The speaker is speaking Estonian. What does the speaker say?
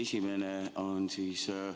Mul on kaks küsimust.